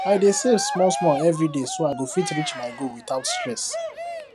i dey save small small every day so i go fit reach my goal without stress